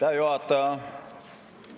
Aitäh, juhataja!